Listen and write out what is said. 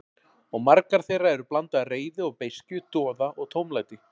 Og margar þeirra eru blanda af reiði og beiskju, doða og tómlæti.